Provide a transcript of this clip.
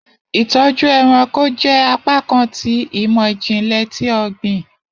Itọju ẹranko jẹ apakan ti imọ-jinlẹ ti ogbin